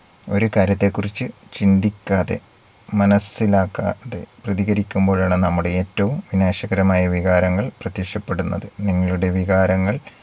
ഒരു കാര്യത്തെ കുറിച്ച് ചിന്തിക്കാതെ മനസ്സിലാക്കാതെ പ്രതികരിക്കുമ്പോഴാണ് നമ്മുടെ ഏറ്റവും വിനാശകരമായ വികാരങ്ങൾ പ്രത്യക്ഷപ്പെടുന്നത്. നിങ്ങളുടെ വികാരങ്ങൾ